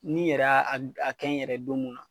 Ni n yɛrɛ a g a kɛ n yɛrɛ don mun na